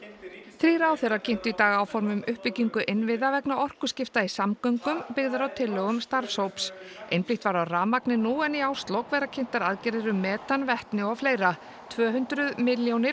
þrír ráðherrar kynntu í dag áform um uppbyggingu innviða vegna orkuskipta í samgöngum byggð á tillögum starfshóps einblínt var á rafmagnið nú en í árslok verða kynntar aðgerðir um metan vetni og fleira tvö hundruð milljónir